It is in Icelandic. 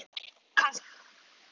Kannski lengur.